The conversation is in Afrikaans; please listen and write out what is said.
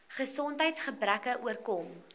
gesondheids gebreke oorkom